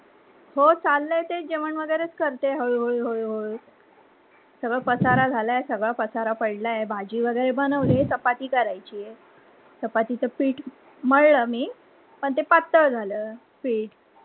हो चाललय तेच जेवन वगैरे करते हळूहळू. सगळं पसारा झाला अहे सगळं पसारा पडला अहे भाजी वगैरे बनवली आहे. चपाती बनायची आहे, चपातीच पिठ मळल मी, पन ते पातळ झाल पिठ.